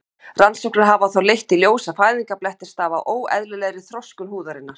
Rannsóknir hafa þó leitt í ljós að fæðingarblettir stafa af óeðlilegri þroskun húðarinnar.